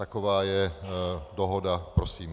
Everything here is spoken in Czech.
Taková je dohoda prosím.